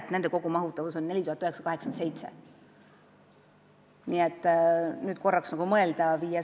Kahe viimase kogumahutavus on 4987.